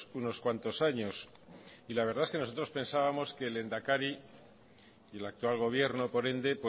unos cuantos años la verdad es que nosotros pensábamos que el lehendakari y el actual gobierno por ende